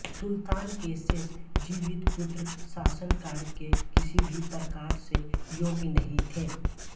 सुल्तान के शेष जीवित पुत्र शासन कार्य के किसी भी प्रकार से योग्य नहीं थे